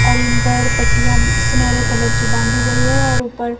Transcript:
और इन पर पट्टियां सुनहरे कलर की बांधी गयी है और ऊपर --